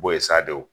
Bo ye sa de o